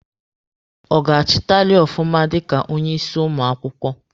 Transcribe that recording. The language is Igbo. Ọ ga-achịtali ọfụma dika onye isi ụmụ akwụkwọ?